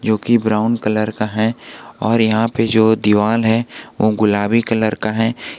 जोकि brown colour का है और यहां पे जो दीवाल है वो गुलाबी कलर का है।